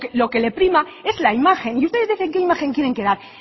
lo que le prima es la imagen y ustedes dicen qué imagen quieren dar